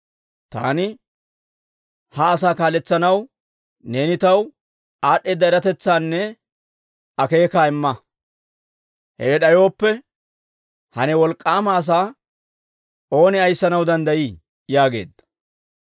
taani ha asaa kaaletsanaw neeni taw aad'd'eeda eratetsaanne akeekaa imma. Hewe d'ayooppe, ha ne wolk'k'aama asaa ooni ayissanaw danddayii?» yaageedda.